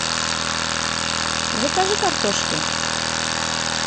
закажи картошки